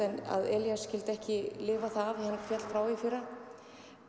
að Elías skyldi ekki lifa það af en hann féll frá í fyrra